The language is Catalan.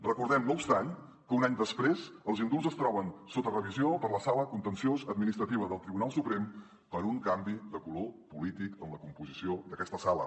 recordem no obstant que un any després els indults es troben sota revisió per la sala contenciosa administrativa del tribunal suprem per un canvi de color polític en la composició d’aquesta sala